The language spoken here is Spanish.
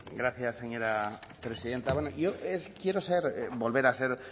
gracias señora presidenta yo quiero ser volver a ser